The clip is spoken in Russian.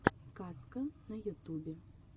казка на ютубе